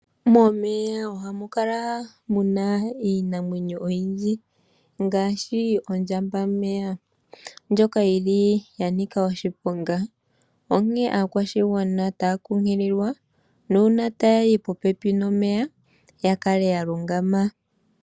Momeya ohamu kala muna iinamwenyo oyindji ngaashi ondjambameya ndjoka yi li ya nika oshiponga, onkee aakwashigwana otaya kunkililwa nuuna taya yi popepi nomeya ya kale ya lungama.